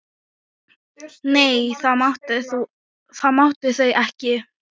Nei, það máttu þau ekki.